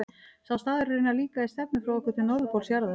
Sá staður er raunar líka í stefnu frá okkur til norðurpóls jarðar.